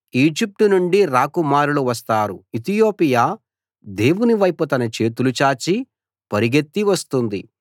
Egypt నుండి రాకుమారులు వస్తారు ఇతియోపియా దేవుని వైపు తన చేతులు చాచి పరిగెత్తి వస్తుంది